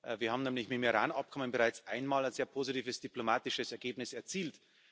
Wir haben nämlich mit dem Iran Abkommen bereits einmal ein sehr positives diplomatisches Ergebnis erzielt.